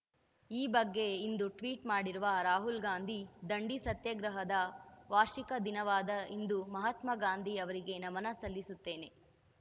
ಈ ಬಗ್ಗೆ ಇಂದು ಟ್ವೀಟ್ ಮಾಡಿರುವ ರಾಹುಲ್‌ಗಾಂಧಿ ದಂಡಿ ಸತ್ಯಾಗ್ರಹದ ವಾರ್ಷಿಕ ದಿನವಾದ ಇಂದು ಮಹತ್ಮಾಗಾಂಧಿ ಅವರಿಗೆ ನಮನ ಸಲ್ಲಿಸುತ್ತೇನೆ